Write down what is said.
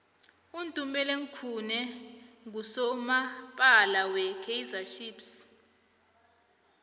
utumeleng khune nqusomapala we kaizer chiefs